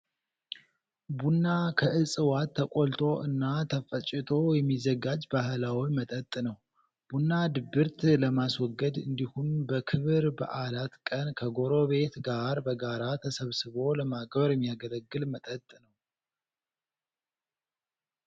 ቡና ከእፅዋት ተቆልቶ እና ተፈጭቶ የሚዘጋጅ ባህላዊ መጠጥ ነው። ቡና ድብርት ለማስወገድ እንዲሁም በክብረ በዓላት ቀን ከጎረቤት ጋር በጋራ ተሰባስቦ ለማክበር የሚያገለግል መጠጥ ነው።